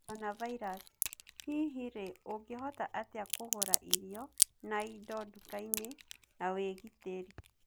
Coronavirus:Hihi rii ũngihota atia kũgurairio na indo dukaini na wigitiri?